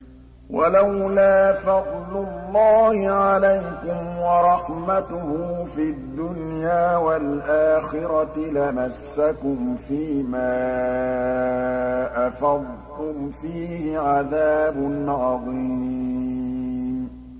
وَلَوْلَا فَضْلُ اللَّهِ عَلَيْكُمْ وَرَحْمَتُهُ فِي الدُّنْيَا وَالْآخِرَةِ لَمَسَّكُمْ فِي مَا أَفَضْتُمْ فِيهِ عَذَابٌ عَظِيمٌ